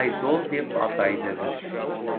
айдол деп атайды міс